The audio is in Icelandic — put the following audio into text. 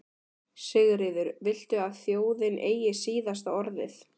Sigríður: Viltu að þjóðin eigi síðasta orðið?